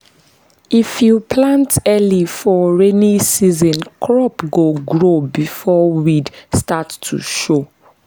if you plant early for rainy season crop go grow before weed start to show.